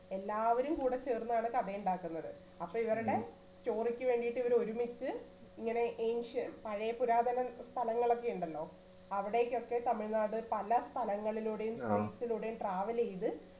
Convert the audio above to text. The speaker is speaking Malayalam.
എല്ലാവരും കൂടെ ചേർന്നാണ് കഥ ഇണ്ടാക്കുന്നത് അപ്പൊ ഇവരുടെ story ക്കു വേണ്ടീട്ട് ഇവരൊരുമിച്ചു ഇങ്ങനെ ancient പഴേ പുരാതന സ്ഥലങ്ങളൊക്കെ ഇണ്ടല്ലോ അവിടേക്കൊക്കെ തമിഴ്‌നാട് പല സ്ഥലങ്ങളിലൂടെയും place ലൂടെയും travel ചെയ്ത്